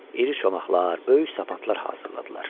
İri çomaqlar, böyük sapanlar hazırladılar.